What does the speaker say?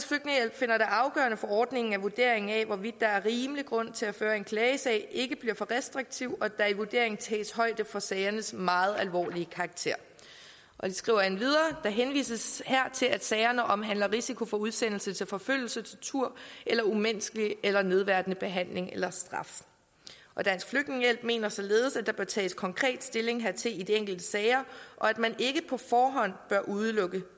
finder det afgørende for ordningen at vurderingen af hvorvidt der er rimelig grund til at føre en klagesag ikke bliver for restriktiv og at der i vurderingen tages højde for sagernes meget alvorlige karakter de skriver endvidere der henvises her til at sagerne omhandler risiko for udsendelse til forfølgelse tortur eller umenneskelig eller nedværdigende behandling eller straf dansk flygtningehjælp mener således at der bør tages konkret stilling hertil i de enkelte sager og at man ikke på forhånd bør udelukke